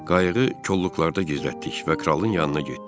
Qayığı kolluqlarda gizlətdik və kralın yanına getdik.